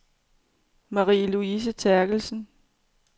Marie-Louise Therkelsen